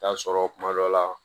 Taa sɔrɔ kuma dɔ la